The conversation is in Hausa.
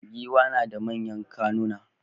Giwa nada manyan kunnuwa